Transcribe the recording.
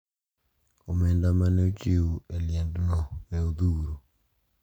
Omenda ma ne ochiw e liendno ne odhuro.